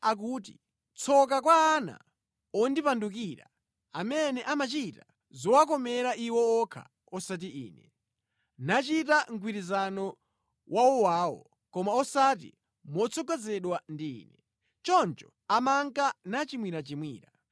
Yehova akuti, “Tsoka kwa ana ondipandukira amene amachita zowakomera iwo okha osati Ine, nachita mgwirizano wawowawo koma osati motsogozedwa ndi Ine. Choncho amanka nachimwirachimwira.